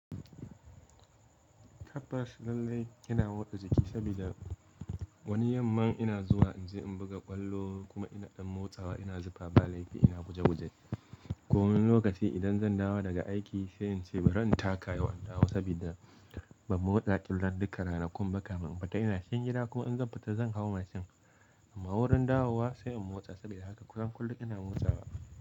Tabbas lallai ina motsa jiki sabida wani yamman ina zuwa inje in buga ƙwallo kuma ina ɗan motsawa ina zifa ba laifi ina guje guje. Komin lokaci idan zan dawo daga aiki sai in ce bari in taka yau in dawo saboda ba mu motsa tun ran duka ranakun ba kamin in fita ina cikin gida kuma in zan fita zan hau mashin. Amma wurin dawowa sai in motsa saboda haka kusan kullum ina motsawa.